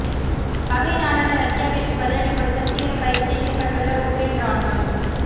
பகை நாடான ரஷ்யாவிற்கு பதிலடி கொடுக்க தீவிர பயிற்சியில் ஈடுபட்டுள்ள உக்ரேன் ராணுவம்